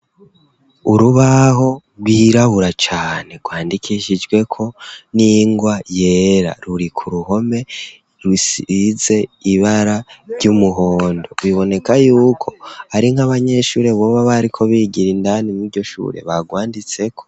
Urubaho rwirabura cane rwandikishijweko n'ingwa yera, ruri ku ruhome rusize ibara ry'umuhondo biboneka yuko ari nk'abanyeshuri boba bariko bigira indani mw'iryo shure barwanditseko.